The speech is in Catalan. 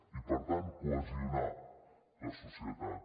i per tant cohesionar la societat